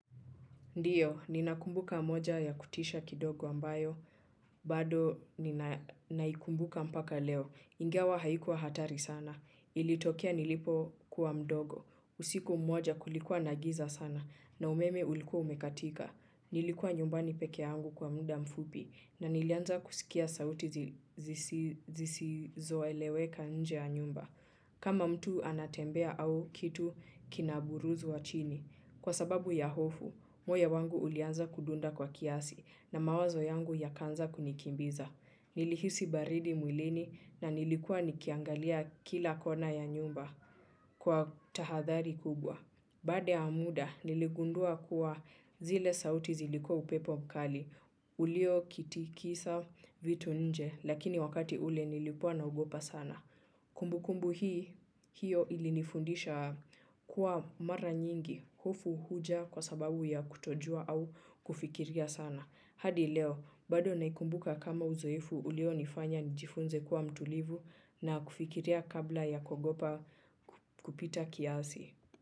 Ndiyo, ninakumbuka moja ya kutisha kidogo ambayo, bado naikumbuka mpaka leo. Ingawa haikuwa hatari sana. Ilitokea nilipokuwa mdogo. Usiku moja kulikuwa na giza sana na umeme ulikuwa umekatika. Nilikuwa nyumbani peke yangu kwa muda mfupi na nilianza kusikia sauti zisizoeleweka nje ya nyumba. Kama mtu anatembea au kitu kinaburuzwa chini. Kwa sababu ya hofu, moyo wangu ulianza kudunda kwa kiasi na mawazo yangu yakaanza kunikimbiza. Nilihisi baridi mwilini na nilikuwa nikiangalia kila kona ya nyumba kwa tahathari kubwa. Baada ya muda, niligundua kuwa zile sauti zilikuwa upepo mkali. Uliokitikisa vitu nje, lakini wakati ule nilikuwa naogopa sana. Kumbukumbu hii hiyo ilinifundisha kuwa mara nyingi hofu huja kwa sababu ya kutojua au kufikiria sana. Hadi leo, bado naikumbuka kama uzoefu ulionifanya nijifunze kuwa mtulivu na kufikiria kabla ya kuogopa kupita kiasi.